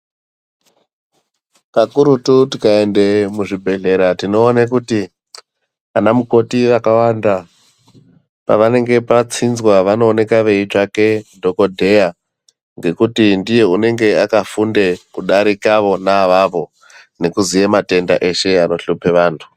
Pakurutu tikaende muzvibhehlera tinoone kuti ana mukoti vakawanda pavanenge patsinzw vanoonekwa veitsvake dhokodheya ngekuti ndiye unenge akafunde kudarika vona avavo nekuziye matenda eshe anohlupe vantu.